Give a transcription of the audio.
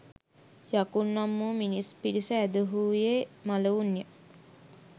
යකුන් නම් වූ මිනිස් පිරිස ඇදහුයේ මළවුන්ය.